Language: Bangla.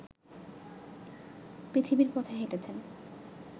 পৃথিবীর পথ হেঁটেছেন